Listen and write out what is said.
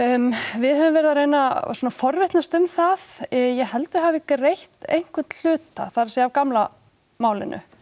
við höfum verið að reyna að svona forvitnast um það ég held að þau hafi greitt einhvern hluta það er af gamla málinu